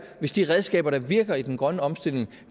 hvis de redskaber der virker i den grønne omstilling